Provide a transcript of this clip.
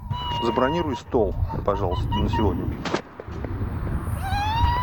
забронируй стол пожалуйста на сегодня